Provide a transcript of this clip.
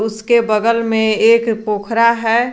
उसके बगल में एक पोखरा है।